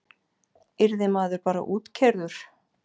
Yrði maður bara útkeyrður?